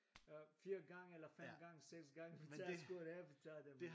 Øh 4 gange eller 5 gange 6 gange vi tager skoene vi tage dem